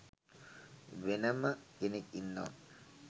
වෙනම කෙනෙක් ඉන්නව.